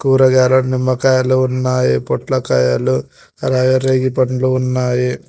కూరగాయలు నిమ్మకాయలు ఉన్నాయి పొట్లకాయలు అలాగే రేగి పండ్లు ఉన్నాయి.